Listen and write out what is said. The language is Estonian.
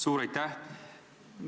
Suur aitäh!